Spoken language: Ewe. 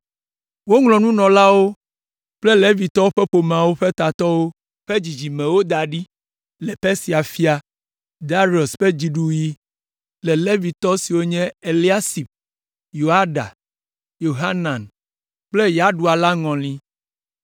Woŋlɔ nunɔlawo kple Levitɔwo ƒe ƒomeawo ƒe tatɔwo ƒe dzidzimewo da ɖi le Persia fia, Darius ƒe dziɖuɣi le Levitɔ siwo nye Eliasib, Yoiada, Yohanan kple Yaɖua la ŋɔli.